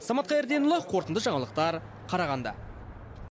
самат қайырденұлы қорытынды жаңалықтар қарағанды